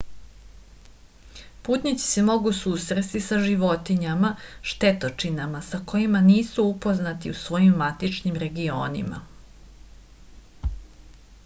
putnici se mogu susresti sa životinjama štetočinama sa kojima nisu upoznati u svojim matičnim regionima